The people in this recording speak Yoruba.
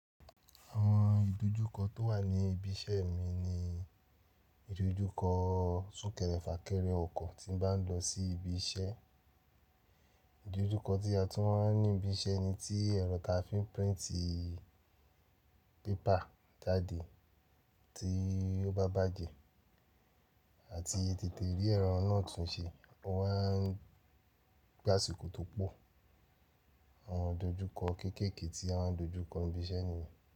Àwọn ìdojúkọ tó wà ní ibi iṣẹ́ mi ni ìdojúkọ súnkẹrẹ fà kẹrẹ ọkọ̀ tí ń bá lọ sí ibi iṣẹ́, ìdojúkọ tí a tún máa ń ní ibi iṣẹ́ ni tí ẹ̀rọ ta fi ń printí paper jáde tí ó bá bàjé àti tètè rí ẹro náà tún ṣe, o maa ń gbáṣiko tó pọ̀. Àwọn ìdojúkọ kéékèèké tí à maa n dojúkọ nbi iṣẹ́ ní.